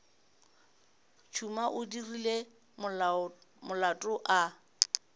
tšhuma o dirile molato a